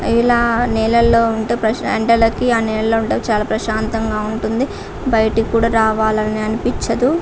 ఇలా నీళ్లలో ఉంటే ప్రశ్న అంటే ఆ నీళ్లలో ఉంటే ప్రశాంతంగా ఉంటుంది బయటకి కూడా రావాలని అనిపించదు.